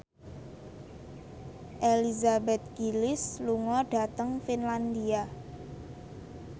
Elizabeth Gillies lunga dhateng Finlandia